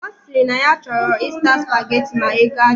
Osiri na ya choro izuta spaghetti ma ego adiro.